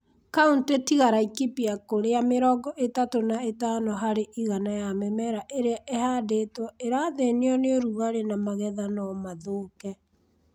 Kauntĩ tiga Laikipia kũrĩa mĩrongo ĩtatũ na itano harĩ igana ya mĩmera ĩrĩa ĩhandĩtwo ĩrathĩnio nĩ ũrugarĩ na magetha no mathũke.